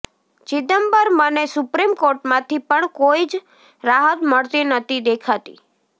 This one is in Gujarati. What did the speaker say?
ચિદૃમ્બરમને સુપ્રીમ કોર્ટમાંથી પણ કોઈ જ રાહત મળતી નથી દૃેખાતી